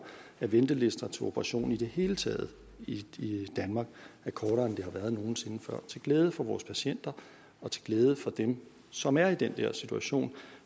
at ventelister til operationer i det hele taget i danmark er kortere end de har været nogen sinde før og til glæde for vores patienter og til glæde for dem som er i den der situation